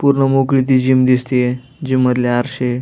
पूर्ण मोकळी ती जीम दिसतिये जीम मधले आरशे--